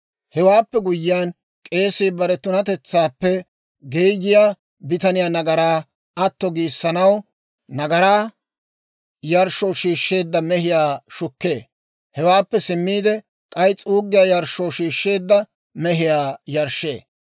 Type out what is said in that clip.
«Hewaappe guyyiyaan k'eesii bare tunatetsaappe geeyiyaa bitaniyaa nagaraa atto giissanaw nagaraa yarshshoo shiishsheedda mehiyaa shukkee; hewaappe simmiide k'ay s'uuggiyaa yarshshoo shiishsheedda mehiyaa yarshshee.